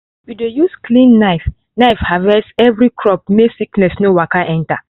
we dey use clean knife knife harvest every crop make sickness no waka enter.